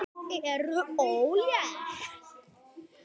Ekki ertu ólétt?